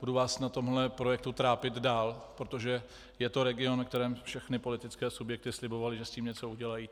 Budu vás na tomto projektu trápit dál, protože je to region, kterému všechny politické subjekty slibovaly, že s tím něco udělají.